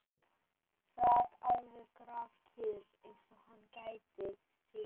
Sat alveg grafkyrr, eins og hann gæti sig ekki hrært.